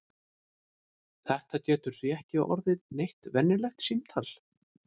Þetta getur því ekki orðið neitt venjulegt símtal!